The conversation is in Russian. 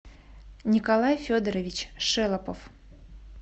николай федорович шелопов